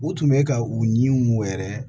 U tun bɛ ka u ɲiw wɛrɛ